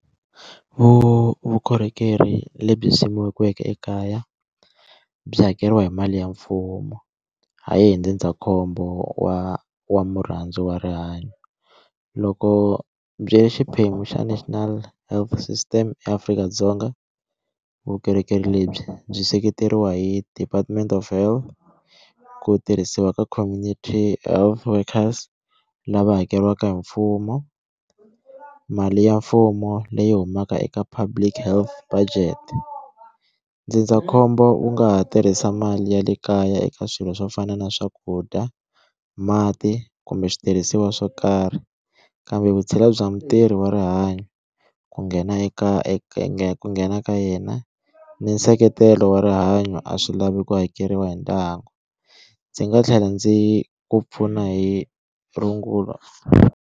Vukorhokeri lebyi simekiweke ekaya byi hakeriwa hi mali ya mfumo hayi hi ndzindzakhombo wa wa murhandziwa wa rihanyo loko byi ya xiphemu xa National Health System eAfrika-Dzonga vukorhokeri lebyi byi seketeriwa hi department of health ku tirhisiwa ka community health workers lava hakeriwaka hi mfumo mali ya mfumo leyi humaka eka public health budget ndzindzakhombo wu nga ha tirhisa mali ya le kaya eka swilo swo fana na swakudya mati kumbe switirhisiwa swo karhi kambe vutshila bya mutirhi wa rihanyo ku nghena eka ku nghena ka yena ni nseketelo wa rihanyo a swi lavi ku hakeriwa hi ndyangu ndzi nga tlhela ndzi ku pfuna hi rungulo.